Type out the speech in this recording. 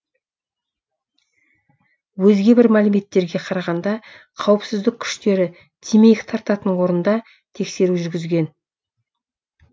өзге бір мәліметтерге қарағанда қауіпсіздік күштері темекі тартатын орында тексеру жүргізген